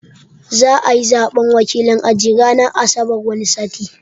Za'ayi Zaɓen wakilin aji ranar asabar wani sati